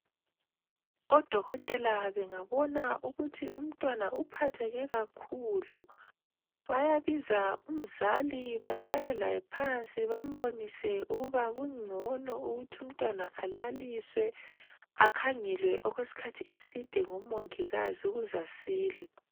Odokotela bengabona ukuthi umntwana uphatheke kakhulu, bayabiza umzali bahlale laye phansi bambonise ukuba kungcono ukuthi umntwana alaliswe akhangelwe okweskhathi eside ngomongikazi ukuz'asile.